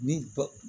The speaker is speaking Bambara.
Ni ko